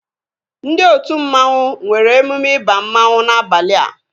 Ndị otu mmanwu nwere emume ịba mmanwu n'abalia